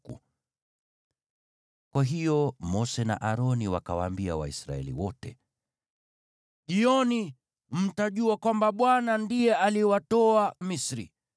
Kwa hiyo Mose na Aroni wakawaambia Waisraeli wote, “Jioni mtajua kwamba Bwana ndiye aliwatoa Misri,